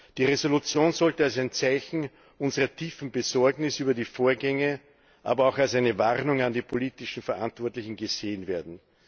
Die Entschließung sollte als ein Zeichen unserer tiefen Besorgnis über die Vorgänge, aber auch als eine Warnung an die politisch Verantwortlichen gesehen werden.